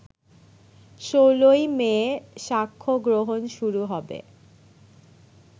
১৬ই মে সাক্ষ্য গ্রহণ শুরু হবে